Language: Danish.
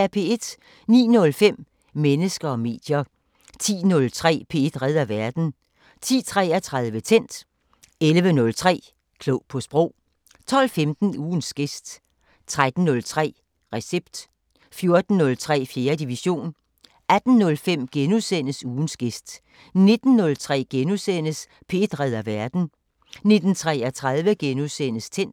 09:05: Mennesker og medier 10:03: P1 redder verden 10:33: Tændt 11:03: Klog på Sprog 12:15: Ugens gæst 13:03: Recept 14:03: 4. division 18:05: Ugens gæst * 19:03: P1 redder verden * 19:33: Tændt *